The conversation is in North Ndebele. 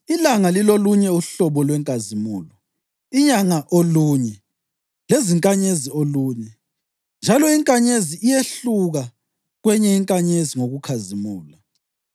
Ilanga lilolunye uhlobo lwenkazimulo, inyanga olunye lezinkanyezi olunye; njalo inkanyezi iyehluka kwenye inkanyezi ngokukhazimula.